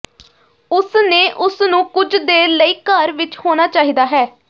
ਉਸ ਨੇ ਉਸ ਨੂੰ ਕੁਝ ਦੇਰ ਲਈ ਘਰ ਵਿੱਚ ਹੋਣਾ ਚਾਹੀਦਾ ਹੈ